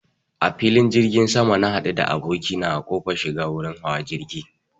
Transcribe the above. A filin jirgin sama na haɗu da abokina a kofar shiga wurin hawa jirgi